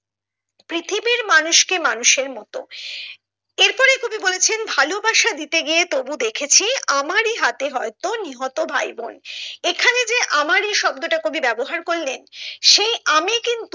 পৃথিবীর মানুষ কে মানুষের মতো এর পরে কবি বলেছেন ভালোবাসা দিয়ে গিয়ে তবু দেখেছি আমারি হাতে হয়তো নিহত ভাইবোন এখানে যে আমারি শব্দটা কবি ব্যবহার করেলন সেই আমি কিন্ত